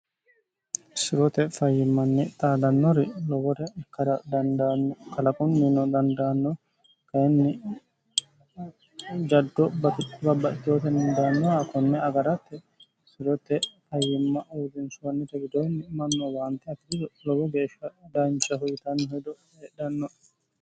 sirote fayyimmanni xaadannori lowore dkalaqunnino dandaanno kayinni jaddo bbabbatootennidaannoha kunne agaratte sirote fayyimma uodinshoonnite widoonni manno waante atiriso lowo geeshsha daancha huyitanni hedo hedhanno